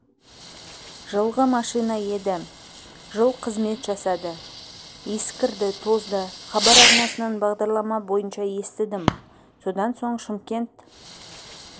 жылғы машина еді жыл қызмет жасады ескірді тозды хабар арнасынан бағдарлама бойынша естідім содан соң шымкент